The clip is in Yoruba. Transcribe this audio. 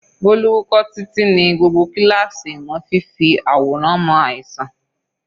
Bolu wúkọ́ títí ní gbogbo kíláàsì ìmọ̀ fífi àwòrán mọ àìsàn.